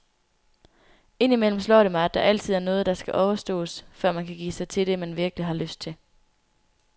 Indimellem slår det mig, at der altid er noget, der skal overstås, før man kan give sig til det, man virkelig har lyst til.